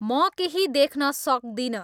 म केहि देख्न सक्दिन